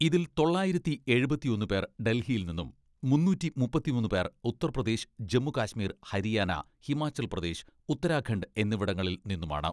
ഇതിൽ തൊള്ളായിരത്തി എഴുപത്തിയൊന്ന് പേർ ഡൽഹിയിൽ നിന്നും മുന്നൂറ്റി മുപ്പത്തിമൂന്ന് പേർ ഉത്തർപ്രദേശ്, ജമ്മുകശ്മീർ, ഹരിയാന, ഹിമാചൽ പ്രദേശ്, ഉത്തരാഖണ്ഡ് എന്നിവിടങ്ങളിൽ നിന്നുമാണ്.